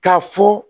K'a fɔ